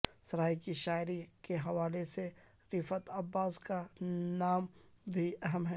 سرائیکی شاعری کے حوالے سے رفعت عباس کا نام بھی اہم ہے